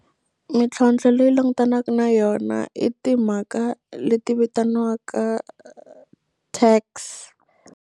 Mintlhontlho leyi langutanaku na yona i timhaka leti vitaniwaka tax.